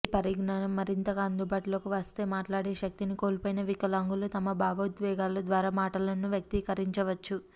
ఈ పరిజ్ఞానం మరింతగా అందుబాటులోకి వస్తే మాట్లాడేశక్తిని కోల్పొయిన వికలాంగులు తమ భావోద్వేగాల ద్వారా మాటలను వ్యక్తీకరించవచ్చు